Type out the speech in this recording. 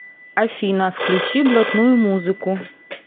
афина включи блатную музыку